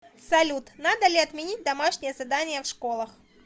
салют надо ли отменить домашние задания в школах